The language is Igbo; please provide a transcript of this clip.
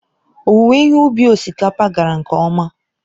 Owuwe ihe ubi osikapa gara nke ọma.